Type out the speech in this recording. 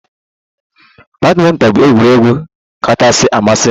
Badminton bụ egwuregwu kachasị amasị m